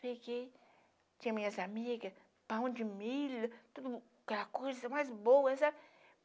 Peguei, tinha minhas amigas, pão de milho, tudo aquela coisa mais boa, sabe?